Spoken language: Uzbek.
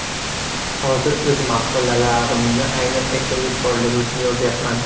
Hozir o‘z maqolalarimni aynan erkinlik borligi uchun yozyapman.